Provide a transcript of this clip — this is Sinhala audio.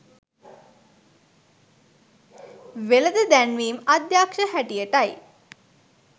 වෙළෙඳ දැන්වීමේ අධ්‍යක්ෂ හැටියටයි